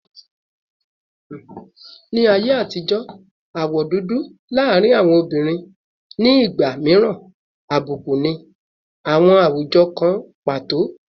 Ni aye atijo, awọ dudu laarin awọn obinrin ni igba miiran abuku ni awọn awujọ kan pato